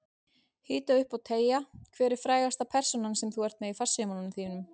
Hita upp og teygja Hver er frægasta persónan sem þú ert með í farsímanum þínum?